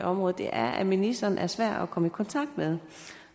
området er at ministeren er svær at komme i kontakt med